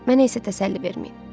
Mənə isə təsəlli verməyin.